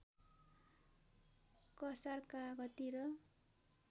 कसार कागती र